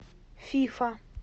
фифа